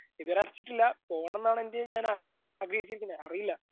പിന്നയിപ്പം പൈസകളും